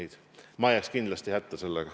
Mina jääksin sellega kindlasti hätta.